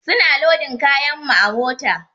Su na lodin kayan mu a mota.